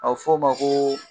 A f'o ma koo.